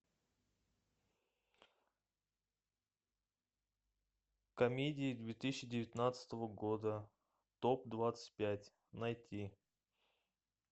комедии две тысячи девятнадцатого года топ двадцать пять найти